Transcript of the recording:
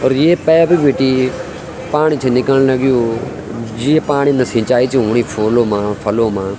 और ये पेप बिटि पाणी छन निकल लग्युं जे पाणी ला सिंचाई छ हुणी फूलो मा फलो मा।